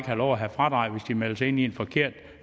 have lov at have fradrag hvis de melder sig ind i en forkert